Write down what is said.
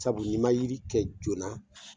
Sabu ni ma yiri kɛ joona